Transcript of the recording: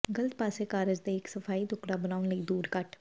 ਗ਼ਲਤ ਪਾਸੇ ਕਾਗਜ਼ ਦੇ ਇੱਕ ਸਫ਼ਾਈ ਟੁਕੜਾ ਬਣਾਉਣ ਲਈ ਦੂਰ ਕੱਟ